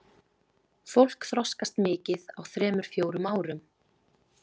Fólk þroskast mikið á þremur fjórum árum.